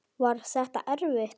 Var þetta erfitt?